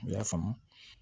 U y'a faamu